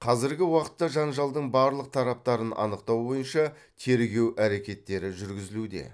қазіргі уақытта жанжалдың барлық тараптарын анықтау бойынша тергеу әрекеттері жүргізілуде